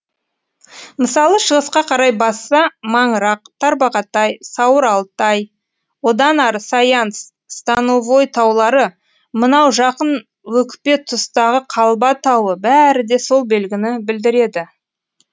мысалы шығысқа қарай басса маңырақ тарбағатай сауыр алтай одан ары саян становой таулары мынау жақын өкпе тұстағы қалба тауы бәрі де сол белгіні білдіреді